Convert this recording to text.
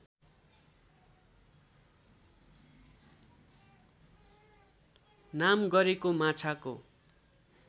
नाम गरेको माछाको